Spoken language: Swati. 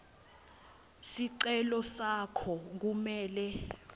sicelo sakho kumele